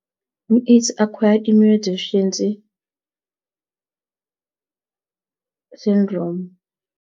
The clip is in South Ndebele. I-AIDS i-Acquired immunodeficiency syndrome.